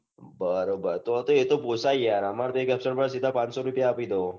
બરોબર એ તો પોસાય આમરે તો એક absent પડે તો સીઘા આઠસો રૂપિયા આપી દો